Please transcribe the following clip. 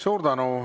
Suur tänu!